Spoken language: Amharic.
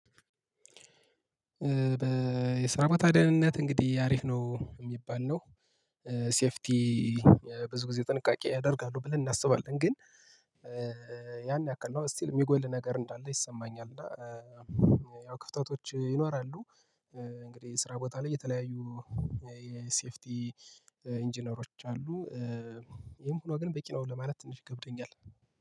በስራ በታዲያንነት እንግዲህ አሪፍ ነው የሚባል ነው። ሴፍቲ ብዙ ጊዜ ጥንቃቄ ያደርጋሉ ብለን እናስባለን ግን ያን ያክል ነው ስቲል የሚጎል ነገር እንዳለ ይሰማኛል እና ያው ክፍተቶች ይኖራሉ እንግዲህ ስራ ቦታ ላይ የተለያዩ የሴፍቲ ኢንጂነሮች አሉ። ይሄም ሆኖ ግን በቂ ነው ለማለት ትንሽ ገብተኛል።